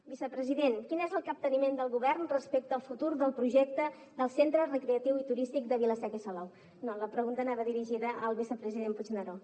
vicepresident quin és el capteniment del govern respecte al futur del projecte del centre recreatiu i turístic de vila seca i salou no la pregunta anava dirigida al vicepresident puigneró